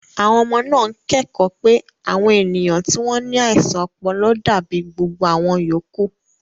Àwọn ọmọ náà ń kẹ́kọ̀ọ́ pé àwọn ènìyàn tí wọ́n ní àìsàn ọpọlọ dàbí gbogbo àwọn yòókù.